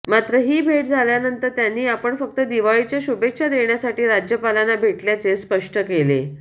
मात्र ही भेट झाल्यानंतर त्यांनी आपण फक्त दिवाळीच्या शुभेच्छा देण्यासाठी राज्यपालांना भेटल्याचे स्पष्ट केले